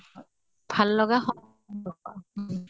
ভাল লগা সম্পৰ্ক